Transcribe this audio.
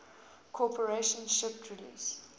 corporation shipped release